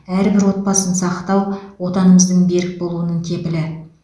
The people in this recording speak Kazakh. әрбір отбасын сақтау отанымыздың берік болуының кепілі